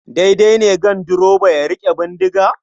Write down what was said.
Daidai ne ganduroba ya riƙe bindiga?